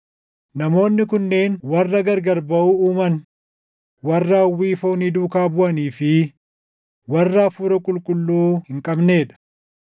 Namoonni kunneen warra gargar baʼuu uuman, warra hawwii foonii duukaa buʼanii fi warra Hafuura Qulqulluu hin qabnee dha.